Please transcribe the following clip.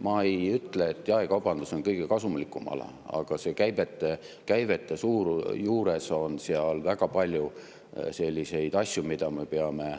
Ma ei ütle, et jaekaubandus on kõige kasumlikum ala, aga käivete puhul on väga palju selliseid asju, mida me peame